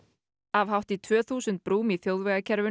af hátt í tvö þúsund brúm í þjóðvegakerfinu